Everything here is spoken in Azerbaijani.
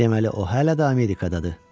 Deməli, o hələ də Amerikadadır.